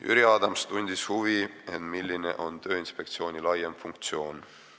Jüri Adams tundis huvi, milline on Tööinspektsiooni laiem funktsioon.